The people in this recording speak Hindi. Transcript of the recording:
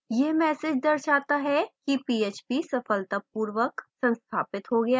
यह message दर्शाता है कि php सफलतापूर्वर संस्थापित हो गया है